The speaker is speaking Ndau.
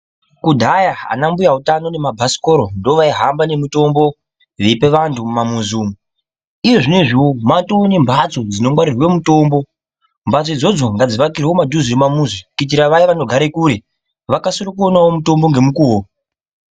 Kudhaya ana mbuya utano nemabhasikora ndovaihamba nemitombo veipe vantu mumamuzi umu. Iyezvinozviwo matoo nembatso dzinongwarirwe mutombo. Mbatso idzodzo ngadzivakirwe mumadhuze memamuzi kuitira vaya vanogare kure, vakasirewo kuone mutombo ngemukuwo.